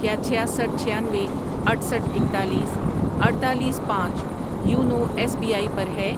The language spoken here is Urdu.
کیا چھیاسٹھ ،چھیانوے، اٹھسٹھ ،اکتالیس، اڈتالیس، پانچ یونو ایس بی آئی پر ہے؟